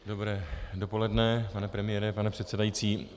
Dobré dopoledne, pane premiére, pane předsedající.